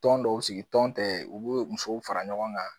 Tɔn dɔw sigi tɔn tɛ u bɛ musow fara ɲɔgɔn kan.